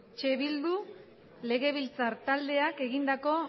eh bildu legebiltzar taldeak egindako